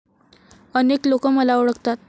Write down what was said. अनेक लोक मला ओळखतात.